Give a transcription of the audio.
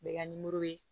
U bɛ ka